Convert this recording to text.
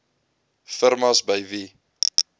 firmas by wie